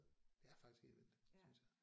Det er faktisk helt vildt synes jeg